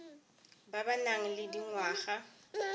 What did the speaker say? ba ba nang le dingwaga